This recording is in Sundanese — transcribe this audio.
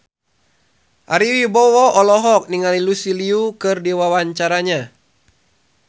Ari Wibowo olohok ningali Lucy Liu keur diwawancara